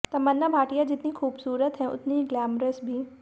तमन्ना भाटिया जितनी खूबसूरत हैं उतनी ही ग्लैमरस भी